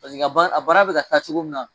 Paseke a bana bɛ ka taa cogo min na.